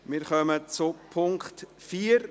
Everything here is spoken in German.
Wir kommen zum Punkt 4.